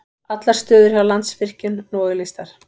Allar stöður hjá Landsvirkjun nú auglýstar